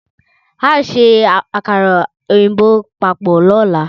Ao se akara oyinbo papo lola